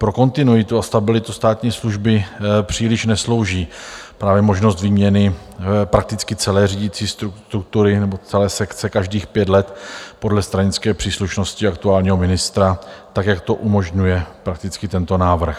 Pro kontinuitu a stabilitu státní služby příliš neslouží právě možnost výměny prakticky celé řídící struktury nebo celé sekce každých pět let podle stranické příslušnosti aktuálního ministra, tak jak to umožňuje prakticky tento návrh.